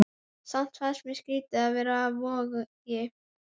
Samt fannst mér skrýtið að vera á Vogi.